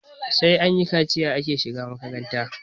sai anyi kaciya ake shiga makaranta